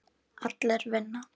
Allir vinna.